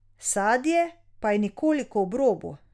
Sadje pa je nekoliko ob robu.